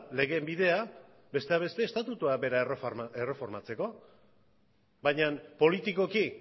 legeen bidea besteak beste estatutua bera erreformatzeko baina politikoki